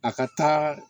A ka taa